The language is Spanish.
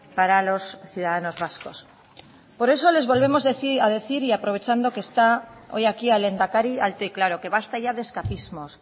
para los ciudadanos vascos por eso les volvemos a decir y aprovechando que está hoy aquí el lehendakari alto y claro que basta ya de escapismos